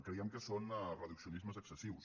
creiem que són reduccionismes excessius